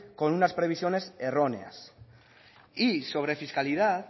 con unas previsiones erróneas y sobre fiscalidad